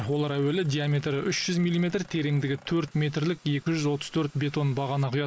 олар әуелі диаметрі үш жүз милиметр тереңдігі төрт метрлік екі жүз отыз төрт бетон бағана құяды